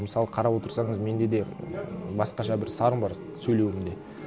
мысалы қарап отырсаңыз менде де ммм басқаша бір сарын бар сөйлеуімде